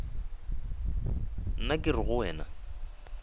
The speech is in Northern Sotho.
nna ke re go wena